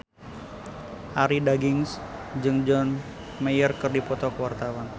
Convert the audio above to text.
Arie Daginks jeung John Mayer keur dipoto ku wartawan